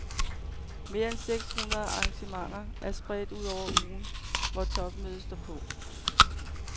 Mere end seks hundrede arrangementer er spredt ud over ugen, hvor topmødet står på.